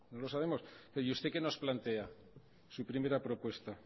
lo sabemos y usted que nos plantea su primera propuesta